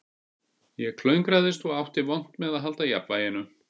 Ég klöngraðist og átti vont með að halda jafnvæginu